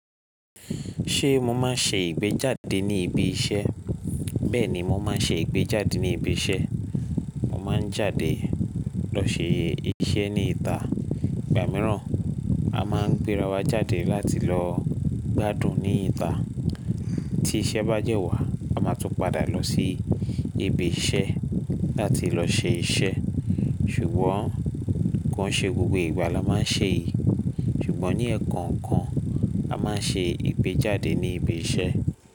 Ṣé mo máa ń ṣe ìgbéjáde ní ibi iṣẹ́? Bẹ́ẹ̀ni, mo máa ń ṣe ìgbéjáde ní ibi iṣẹ́. Mo máa ń jáde lọ sẹ́ iṣẹ́ ní ìta. Ìgbà mìíràn a máa ń gbéra wa jáde láti lọ gbádùn ní ìta. Tí iṣẹ́ bá dẹ́ wà, a máa tún padà lọ sí ibi iṣẹ́ láti lọ ṣe iṣẹ́. Ṣùgbọ́n kàn ṣe gbogbo ìgbà ló máa ń ṣe èyí. Ṣùgbọ́n ní ẹ̀ẹ̀kan ẹ̀ẹ̀kan, a máa ń ṣe ìgbéjáde ní ibi iṣẹ́